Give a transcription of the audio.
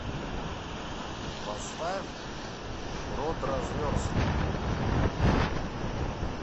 поставь продразверстка